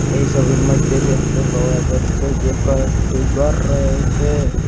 এই ছবির মইধ্যে দেখতে পাওয়া যাচ্ছে যে কয়েকটি ঘর রয়েছে।